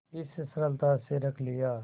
इस सरलता से रख लिया